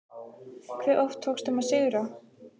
Hve oft tókst þeim að sigra?